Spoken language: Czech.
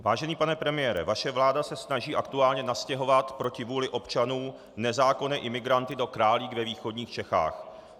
Vážený pane premiére, vaše vláda se snaží aktuálně nastěhovat proti vůli občanů nezákonné imigranty do Králík ve východních Čechách.